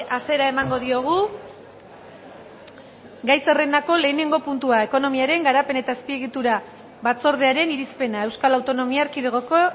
hasiera emango diogu gai zerrendako lehenengo puntua ekonomiaren garapen eta azpiegitura batzordearen irizpena euskal autonomia erkidegoko